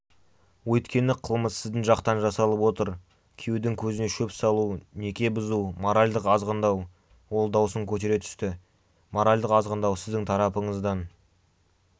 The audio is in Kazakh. өйткені қылмыс сіздің жақтан жасалып отыр күйеудің көзіне шөп салу неке бұзу моральдық азғындау ол даусын көтере түсті моральдық азғындау сіздің тарапыңыздан